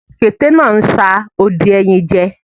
Òkété náà ń sa odi ẹyìn jẹ